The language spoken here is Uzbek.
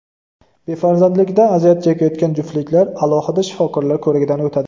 Befarzandlikdan aziyat chekayotgan juftliklar alohida shifokorlar ko‘rigidan o‘tadi.